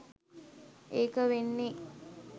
ඒක වෙන්නේ